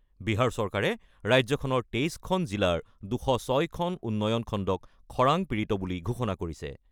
বিহাৰ চৰকাৰে ৰাজ্যখনৰ ২৩ খন জিলাৰ ২০৬টা উন্নয়ন খণ্ডক খৰাং পীড়িত বুলি ঘোষণা কৰিছে।